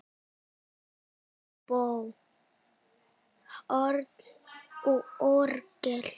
Óbó, horn og orgel.